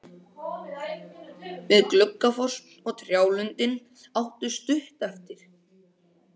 Við Gluggafoss og trjálundinn áttu stutt eftir.